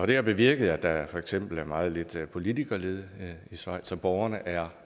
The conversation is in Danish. det har bevirket at der for eksempel er meget lidt politikerlede i schweiz og borgerne er